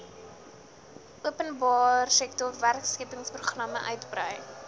openbaresektor werkskeppingsprogramme uitbrei